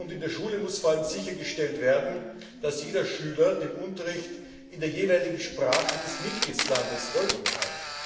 In der Schule muss vor allem sichergestellt werden, dass jeder Schüler dem Unterricht in der jeweiligen Sprache des Mitgliedstaates folgen kann.